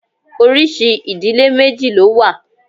Oríṣi ìdílé méjì ló wà.